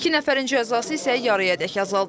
İki nəfərin cəzası isə yarıyadək azaldılıb.